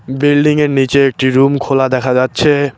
Building এর নীচে একটি রুম খোলা দেখা যাচ্ছে।